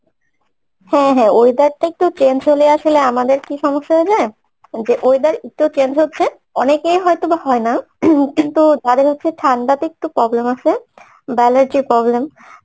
হ্যাঁ হ্যাঁ weather টা একটু change হলে আসলে আমাদের কী সমস্যা হয়ে যায় যে weather একটু change হচ্ছে অনেকের হয়তো বা হয়না ing কিন্তু কারো হচ্ছে ঠান্ডা তে একটু problem আছে বা allergy র problem